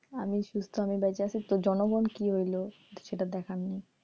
আমি সুস্থ আমি বাইচা আছি জনগণ কি হইলো সেটা দেখার নাই,